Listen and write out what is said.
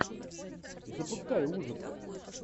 запускай ужасы